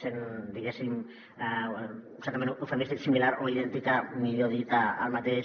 sent diguéssim certament eufemístic similar o idèntica millor dit al mateix